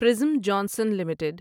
prism Johnson limited